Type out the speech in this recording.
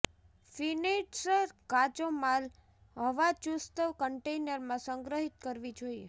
finished કાચો માલ હવાચુસ્ત કન્ટેનર માં સંગ્રહિત કરવી જોઇએ